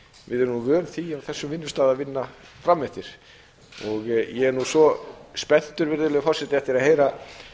við erum nú vön því á þessum vinnustað að vinna fram eftir og ég er nú svo spenntur virðulegur forseti eftir að heyra